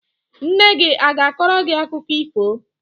Nne gị a ga-akọrọ gị akụkọ ifo?